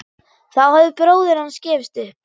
Þá hafði bróðir hans gefist upp.